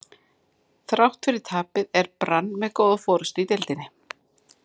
Þrátt fyrir tapið er Brann með góða forystu í deildinni.